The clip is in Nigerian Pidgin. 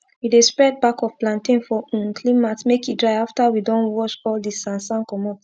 we dey spread back of plantain for um clean mat make e dry afta we don wash all d sand sand comot